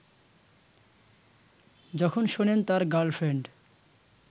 যখন শোনেন তার গার্লফ্রেন্ড